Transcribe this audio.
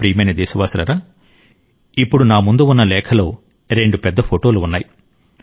నా ప్రియమైన దేశవాసులారా ఇప్పుడు నా ముందు ఉన్న లేఖలో రెండు పెద్ద ఫోటోలు ఉన్నాయి